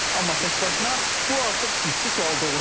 Amma təkbaşına bu artıq ciddi sual doğurur.